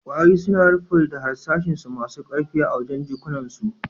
Kwarare suna rufe da harsashi masun karfi a wajen' jikunan su.